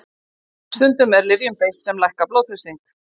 Stundum er lyfjum beitt sem lækka blóðþrýsting.